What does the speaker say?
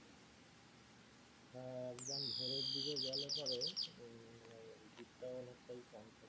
আহ একদম ভোরের দিকে গেলে পরে আহ ভিড় টা অনেকটা কম থাকবে।